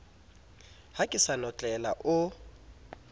ha ke sa notlela o